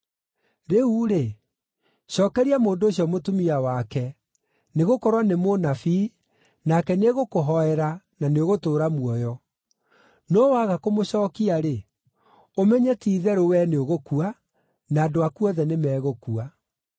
Rĩu-rĩ, cookeria mũndũ ũcio mũtumia wake, nĩgũkorwo nĩ mũnabii, nake nĩegũkũhooera, na nĩũgũtũũra muoyo. No waga kũmũcookia-rĩ, ũmenye ti-itherũ wee nĩũgũkua, na andũ aku othe nĩmegũkua.”